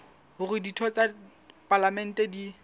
hore ditho tsa palamente di